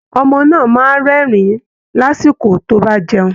Ọmọ náà máa ń rẹ́rìn-ín lásìkò tó bá ń jẹun